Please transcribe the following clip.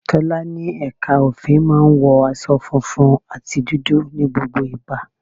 Tọ́lá ní ẹ̀ka òfin máa ń wọ aṣọ funfun àti dúdú ní gbogbo ìgbà.